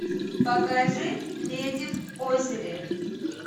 покажи леди в озере